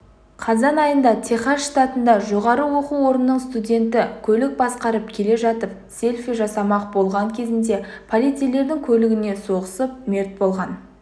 қазан айында техас штатында жоғары оқу орнының студенті көлік басқарып келе жатып селфи жасамақ болған кезінде полицейлердің көлігіне соғысып мерт болған